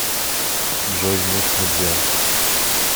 джой нет нельзя